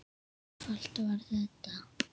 Svona einfalt var þetta.